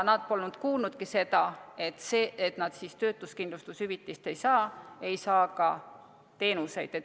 Nad polnud kuulnudki seda, et nad töötuskindlustushüvitist ei saa ja ei saa ka teenuseid.